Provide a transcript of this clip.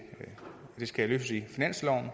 det skal løses i finansloven